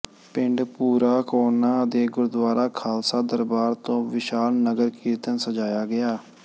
ਪਿੰਡ ਭੂਰਾ ਕੋਹਨਾ ਦੇ ਗੁਰਦੁਆਰਾ ਖ਼ਾਲਸਾ ਦਰਬਾਰ ਤੋਂ ਵਿਸ਼ਾਲ ਨਗਰ ਕੀਰਤਨ ਸਜਾਇਆ ਗਿਆ